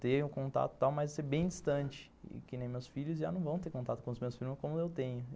ter um contato tal, mas ser bem distante, que nem meus filhos já não vão ter contato com meus primos como eu tenho.